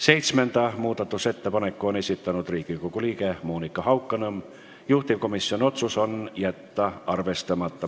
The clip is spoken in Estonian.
Seitsmenda muudatusettepaneku on esitanud Riigikogu liige Monika Haukanõmm, juhtivkomisjoni otsus: jätta arvestamata.